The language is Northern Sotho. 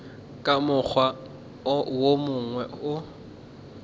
ka mokgwa wo mongwe o